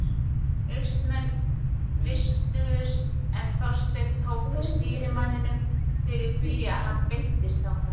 Austmenn vistuðust en Þorsteinn tók við stýrimanninum fyrir því að hann beiddist þangað.